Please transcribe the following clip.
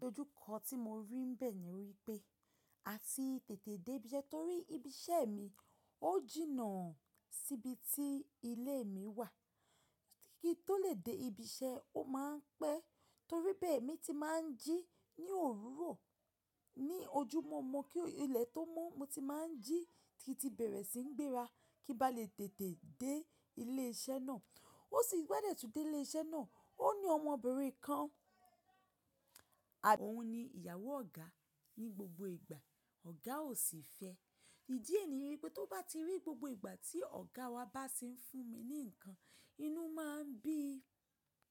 Idojúkọ tí mo rí n bẹ́ẹ̀ ni wípé a tì tètè dé ibi ise, torí ibi iṣẹ́ mi ó jìnnà síbi tí ilé mi wà. Ki n tó lè dé ibi iṣẹ́ ó máa ń pẹ́ torí bẹ́ẹ̀ emi ti máa ń jí ní òwúrọ̀, ní ojúmọ́ mo kí ilẹ̀ tó mo, mo ti máa ń jí ki n tí bẹ̀rẹ̀ sí ń gbéra kí ń bá lè tètè dé ilé iṣẹ́ náà. Ó sì bi n ba dẹ̀ tùn dé ilé iṣẹ́ náà, ó ní ọmọbìnrin kan, òun ni ìyàwó ọ̀gá. Ni gbogbo ìgbà ọ̀gá ò sì fẹ́. Ìdí è ní wípé tó bá ti rí gbogbo ìgbà tí ọ̀gá wa bá ti ń fún mi ní ǹkan, inú máa ń bí i.